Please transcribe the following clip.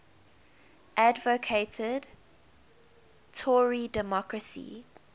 advocated tory democracy